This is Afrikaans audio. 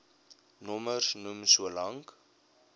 nommers noem solank